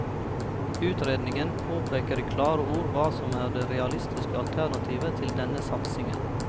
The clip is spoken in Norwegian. Utredningen påpeker i klare ord hva som er det realistiske alternativet til denne satsingen.